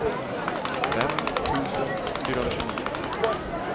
fem tusen fyrahundratjugonio